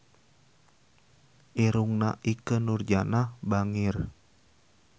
Irungna Ikke Nurjanah bangir